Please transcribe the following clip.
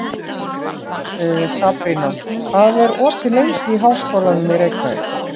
Sabrína, hvað er opið lengi í Háskólanum í Reykjavík?